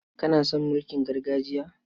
Kana son mulkin gargajiya?